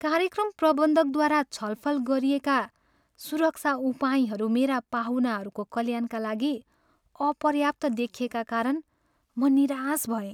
कार्यक्रम प्रबन्धकद्वारा छलफल गरिएका सुरक्षा उपायहरू मेरा पाहुनाहरूको कल्याणका लागि अपर्याप्त देखिएका कारण म निराश भएँ।